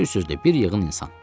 Bir sözlə, bir yığın insan.